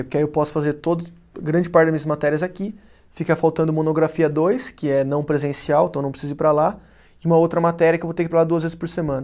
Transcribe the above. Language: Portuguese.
Porque aí eu posso fazer todas, grande parte das minhas matérias aqui, fica faltando monografia dois, que é não presencial, então não preciso ir para lá, e uma outra matéria que eu vou ter que ir para lá duas vezes por semana.